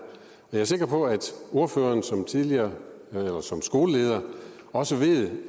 jeg er sikker på at ordføreren som tidligere skoleleder også ved